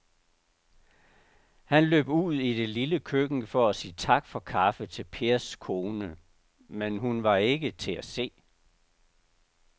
Han løb ud i det lille køkken for at sige tak for kaffe til Pers kone, men hun var ikke til at se.